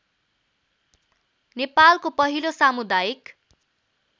नेपालको पहिलो सामुदायिक